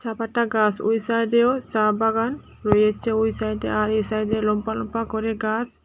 ব্যাপারটা গাছ ঐ সাইডেও চা বাগান রয়েছে ঐ সাইডে আর এই সাইডে লম্বা লম্বা করে গাছ।